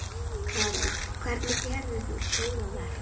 Karen: Hvernig gerðir þú góðverk?